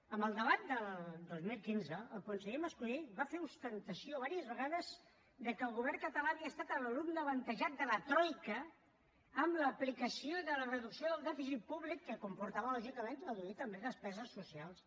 en el debat del dos mil quinze el conseller mas colell va fer ostentació diverses vegades que el govern català havia estat l’alumne avantatjat de la troica amb l’aplicació de la reducció del dèficit públic que comportava lògicament reduir també despeses socials